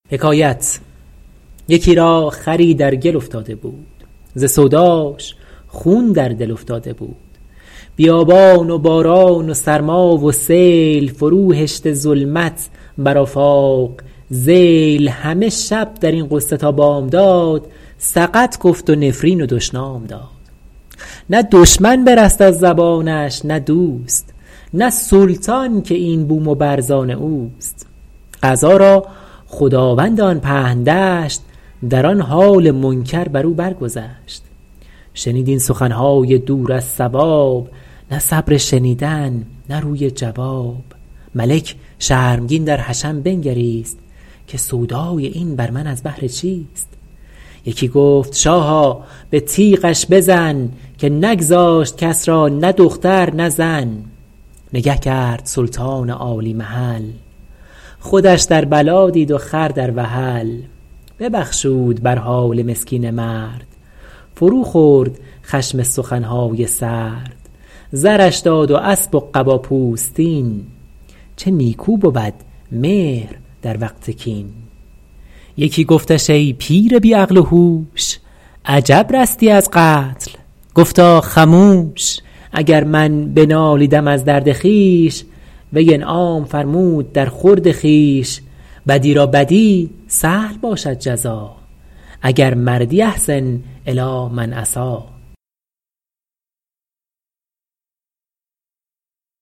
یکی را خری در گل افتاده بود ز سوداش خون در دل افتاده بود بیابان و باران و سرما و سیل فرو هشته ظلمت بر آفاق ذیل همه شب در این غصه تا بامداد سقط گفت و نفرین و دشنام داد نه دشمن برست از زبانش نه دوست نه سلطان که این بوم و بر زآن اوست قضا را خداوند آن پهن دشت در آن حال منکر بر او بر گذشت شنید این سخن های دور از صواب نه صبر شنیدن نه روی جواب ملک شرمگین در حشم بنگریست که سودای این بر من از بهر چیست یکی گفت شاها به تیغش بزن که نگذاشت کس را نه دختر نه زن نگه کرد سلطان عالی محل خودش در بلا دید و خر در وحل ببخشود بر حال مسکین مرد فرو خورد خشم سخن های سرد زرش داد و اسب و قبا پوستین چه نیکو بود مهر در وقت کین یکی گفتش ای پیر بی عقل و هوش عجب رستی از قتل گفتا خموش اگر من بنالیدم از درد خویش وی انعام فرمود در خورد خویش بدی را بدی سهل باشد جزا اگر مردی أحسن إلی من أساء